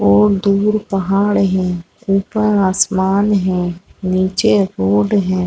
और दूर पहाड़ है ऊपर आसमान है निचे रोड है।